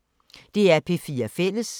DR P4 Fælles